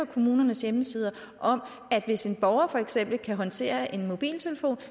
kommuners hjemmesider om at hvis en borger for eksempel kan håndtere en mobiltelefon